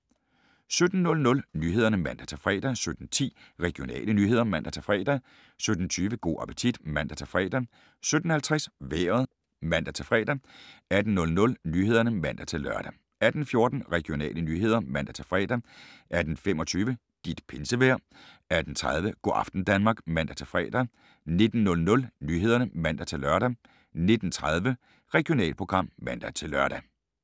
17:00: Nyhederne (man-fre) 17:10: Regionale nyheder (man-fre) 17:20: Go' appetit (man-fre) 17:50: Vejret (man-fre) 18:00: Nyhederne (man-lør) 18:14: Regionale nyheder (man-fre) 18:25: Dit pinsevejr 18:30: Go' aften Danmark (man-fre) 19:00: Nyhederne (man-lør) 19:30: Regionalprogram (man-lør)